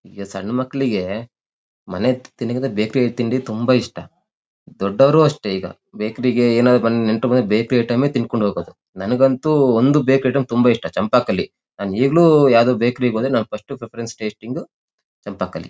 ಈಗ ಸಣ್ಣ ಮಕ್ಕಳಿಗೆ ಮನೆ ತಿಂಡಿಕಿಂತ ಬೇಕರಿ ತಿಂಡಿ ತುಂಬ ಇಷ್ಟ ದೊಡ್ಡವರು ಅಷ್ಟೇ ಈಗ ಬೇಕರಿ ಗೆ ಏನಾದ್ರು ನೆಂಟ್ರು ಬಂದ್ರೆ ಬೇಕರಿ ಐಟೆಮ್ ತಿಂದ್ ಕೊಂಡಿಹೋಗೋದು. ನಂಗಂತೂ ಒಂದು ಬೇಕರಿ ಐಟೆಮ್ ತುಂಬ ಇಷ್ಟ ಚಂಪಕಾಲೀ ನಾನ್ ಈಗಲೂ ಬೇಕರಿ ಗೆ ಹೋದರೂ ಫರ್ಸ್ಟ್ ಪ್ರೆಫೆರೆನ್ಸ್ ಟೆಸ್ಟಿಂಗು ಚಂಪಕಾಲೀ.